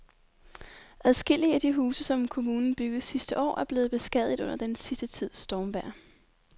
Adskillige af de huse, som kommunen byggede sidste år, er blevet beskadiget under den sidste tids stormvejr.